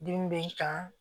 Dimi bɛ n kan